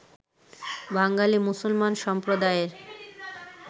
বাঙালি মুসলমান সম্প্রদায়ের